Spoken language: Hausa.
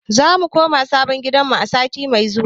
Za mu koma sabon gidanmu a sati mai zuwa.